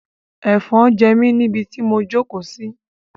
Ẹ̀fọn ń jẹ mí ni ibi tí mo jókòó sí.